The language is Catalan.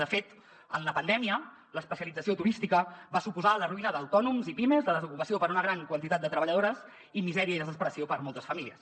de fet en la pandèmia l’especialització turística va suposar la ruïna d’autònoms i pimes la desocupació per a una gran quantitat de treballadores i misèria i desesperació per a moltes famílies